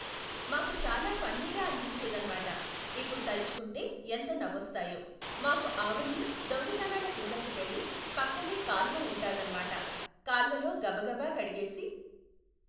మాకు చాలా ఫన్నీగా అనిపించేదన్మాట. ఇప్పుడు తల్చుకుంటే ఎంత నవ్వొస్తాయో. మాకు ఆవన్ని దొంగతనాల కిందట్టుకెళ్ళి పక్కనే కాలువ ఉంటాదన్మాట, కాల్వలో గబగబా కడిగేసి